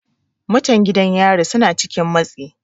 Mutan gidan yari suna cikin matsi.